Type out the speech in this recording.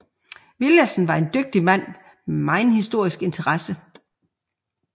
Villadsen var en dygtig mand med megen historisk interesse